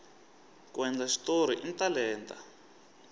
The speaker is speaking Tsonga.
ku endla xitori i talenta